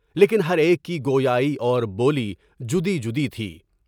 لیکن ہر ایک کی گویائی اور بولی مجدّی تھی۔